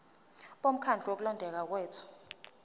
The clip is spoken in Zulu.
bomkhandlu wokulondeka kwethu